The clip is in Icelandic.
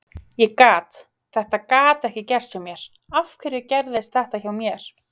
Ég gat, þetta gat ekki gerst hjá mér, af hverju gerðist þetta hjá mér?